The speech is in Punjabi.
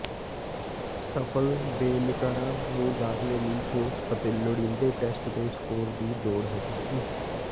ਸਫਲ ਬਿਨੈਕਾਰਾਂ ਨੂੰ ਦਾਖਲੇ ਲਈ ਠੋਸ ਅਤੇ ਲੋੜੀਂਦੇ ਟੈਸਟ ਦੇ ਸਕੋਰ ਦੀ ਲੋੜ ਹੋਵੇਗੀ